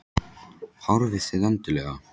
Horfið þið endilega?